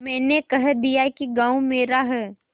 मैंने कह दिया कि गॉँव मेरा है